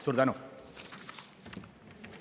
Suur tänu!